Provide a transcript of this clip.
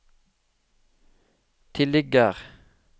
tilligger